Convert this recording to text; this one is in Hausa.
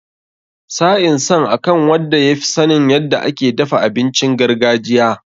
Sa'in san akan wadda ya fi sanin yadda ake dafa abincin gargajiya.